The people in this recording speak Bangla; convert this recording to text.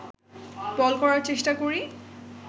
বল করার চেষ্টা করি